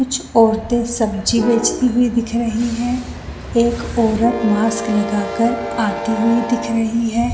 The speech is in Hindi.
कुछ औरते सब्जी बेचते हुए दिख रही है एक औरत मास्क लगा कर आती हुई दिख रही है।